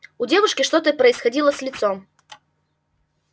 у девушки что-то происходило с лицом